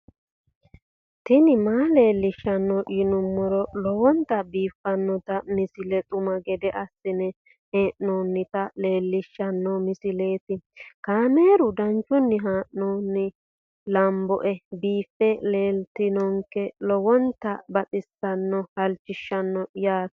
tini maa leelishshanno yaannohura lowonta biiffanota misile xuma gede assine haa'noonnita leellishshanno misileeti kaameru danchunni haa'noonni lamboe biiffe leeeltannoqolten lowonta baxissannoe halchishshanno yaate